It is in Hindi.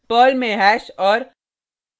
पर्ल में हैश और